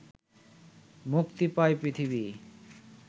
মুক্তি পায় পৃথিবী